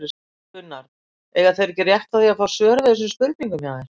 Gunnar: Eiga þeir ekki rétt á því að fá svör við þessum spurningum hjá þér?